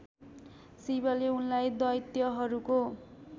शिवले उनलाई दैत्यहरूको